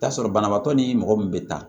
Taa sɔrɔ banabaatɔ ni mɔgɔ min bɛ taa